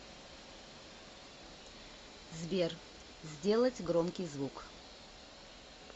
сбер сделать громкий звук